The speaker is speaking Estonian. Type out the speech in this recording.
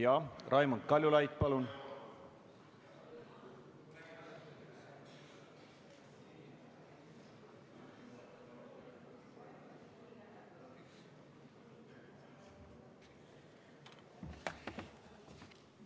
Jah, Raimond Kaljulaid, palun!